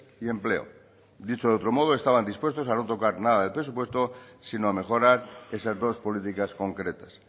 y empleo dicho de otro modo estaban dispuestos a no tocar nada del presupuesto sino a mejorar esas dos políticas concretas